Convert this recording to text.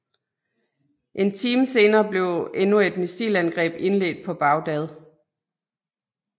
En time senere blev endnu et missilangreb indledt på Baghdad